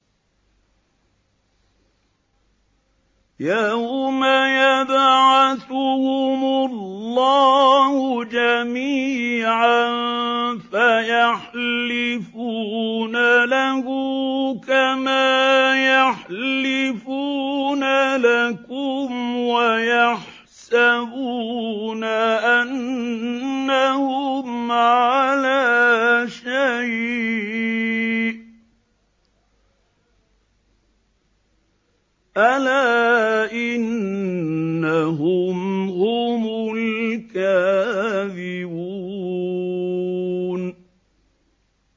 يَوْمَ يَبْعَثُهُمُ اللَّهُ جَمِيعًا فَيَحْلِفُونَ لَهُ كَمَا يَحْلِفُونَ لَكُمْ ۖ وَيَحْسَبُونَ أَنَّهُمْ عَلَىٰ شَيْءٍ ۚ أَلَا إِنَّهُمْ هُمُ الْكَاذِبُونَ